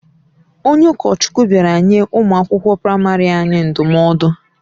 Onye ụkọchukwu bịara nye ụmụ akwụkwọ praịmarị anyị ndụmọdụ.